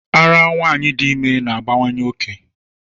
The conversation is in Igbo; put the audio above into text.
Árá nwanyị dị ime na-abawanye oke.